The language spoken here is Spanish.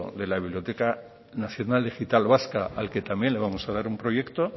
de la biblioteca nacional digital vasca al que también le vamos a dar un proyecto